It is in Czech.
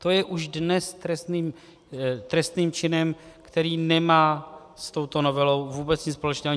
To je už dnes trestným činem, který nemá s touto novelou vůbec nic společného.